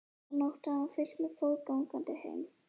Þessa nótt hafði hann fylgt mér fótgangandi heim.